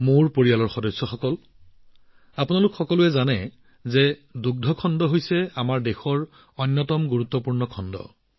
মোৰ পৰিয়ালৰ সদস্যসকল আপোনালোক সকলোৱে জানে যে দুগ্ধ খণ্ড আমাৰ দেশৰ অন্যতম গুৰুত্বপূৰ্ণ খণ্ড